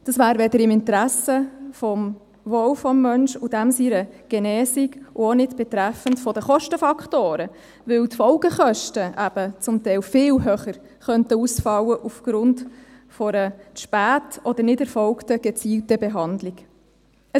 Dies wäre weder im Interesse, zum Wohl des Menschen und seiner Genesung noch im Interesse der Kostenfaktoren, weil die Folgekosten aufgrund einer späten oder nicht erfolgten gezielten Behandlung zum Teil viel höher ausfallen könnten.